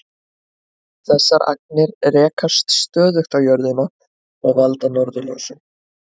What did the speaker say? Þessar agnir rekast stöðugt á jörðina og valda norðurljósum.